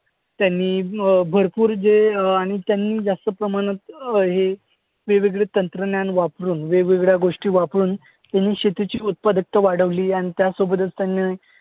त्यांनी अं भरपूर जे अं आणि त्यांनी जास्त प्रमाणात अं हे वेगवेगळे तंत्रज्ञान, वेगवेगळ्या गोष्टी वापरून त्यांनी शेतीची उत्पादकता वाढवली. आणि त्यासोबतच त्यांनी